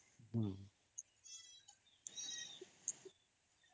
noise